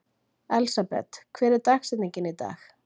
Elsabet, hver er dagsetningin í dag?